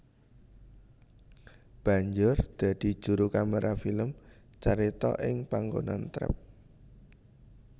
Banjur dadi juru kaméra film carita ing panggonan trep